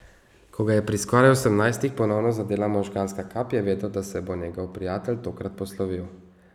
Ko ga je pri skoraj osemnajstih ponovno zadela možganska kap, je vedel, da se bo njegov prijatelj tokrat poslovil.